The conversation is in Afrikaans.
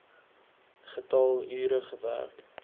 getal ure gewerk